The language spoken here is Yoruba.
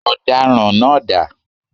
Ọ̀daràn náá dà?